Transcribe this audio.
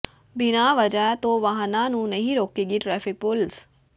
ਬਿਨਾਂ ਵਜਾ ਤੋਂ ਵਾਹਨਾਂ ਨੂੰ ਨਹੀਂ ਰੋਕੇਗੀ ਟ੍ਰੈਫਿਕ ਪੁਲਿਸ